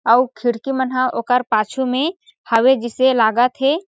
अउ खिड़की मन ह ओकर पाछू में हवे जिसे लागत हे।